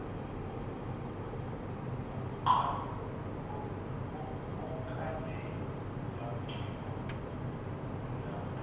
okade lagcina ukuna